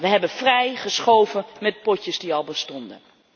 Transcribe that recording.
We hebben vrij geschoven met potjes die al bestonden.